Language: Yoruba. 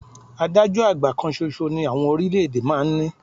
Adájọ́ àgbà kan ṣoṣo ni àwọn orílẹ̀-èdè máa ń ní